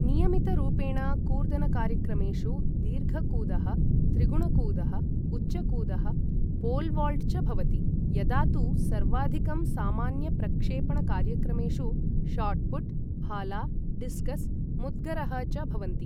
नियमितरूपेण कूर्दनकार्यक्रमेषु दीर्घकूदः, त्रिगुणकूदः, उच्चकूदः, पोलवॉल्ट् च भवति, यदा तु सर्वाधिकं सामान्यप्रक्षेपणकार्यक्रमेषु शॉट्पुट्, भाला, डिस्कस्, मुद्गरः च भवन्ति ।